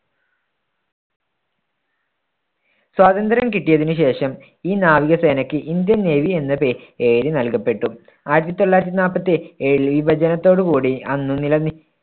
സ്വാതന്ത്ര്യം കിട്ടിയതിന് ശേഷം ഈ നാവികസേനക്ക് ഇന്ത്യൻ നേവി എന്ന പേ~പേര് നൽകപ്പെട്ടു. ആയിരത്തി തൊള്ളായിരത്തി നാൽപത്തി ഏഴിൽ വിഭജനത്തോടുകൂടി അന്ന് നില~